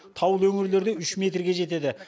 таулы өңірлерде үш метрге жетеді